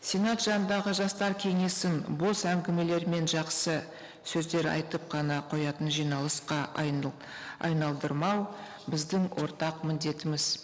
сенат жанындағы жастар кеңесін бос әңгімелер мен жақсы сөздер айтып қана қоятын жиналысқа айналдырмау біздің ортақ міндетіміз